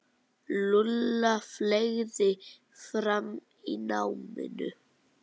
Lúlla fleygði fram í náminu.